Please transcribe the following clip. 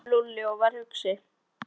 sagði Lúlli og var hugsi.